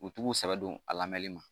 U t'u sɛbɛ don a la mɛli ma